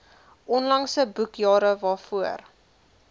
onlangse boekjare waarvoor